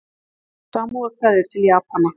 Samúðarkveðjur til Japana